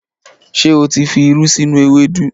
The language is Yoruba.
Ṣé o tí fi irú sínú ewédú?